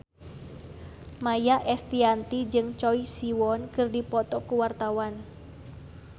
Maia Estianty jeung Choi Siwon keur dipoto ku wartawan